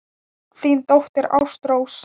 Þín dóttir, Ástrós.